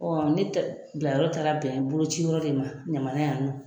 Ɔ ne tɛ bila yɔrɔ taara bɛn boloci yɔrɔ de ma ɲamana yan nɔ.